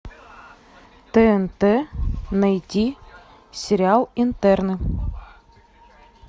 тнт найти сериал интерны